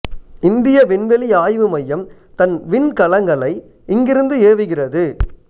இந்திய விண்வெளி ஆய்வு மையம் தன் விண்கலங்களை இங்கிருந்து ஏவுகிறது